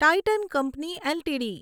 Titan company LTD